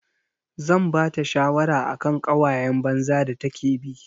Zan bata shawara akan ƙawayan banza da take bi.